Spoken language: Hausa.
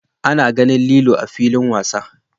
A na ganin lilo a'filin wasa.